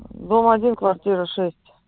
дом один квартира шесть